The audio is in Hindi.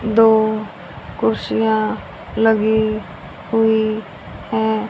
दो कुर्सियां लगी हुई हैं।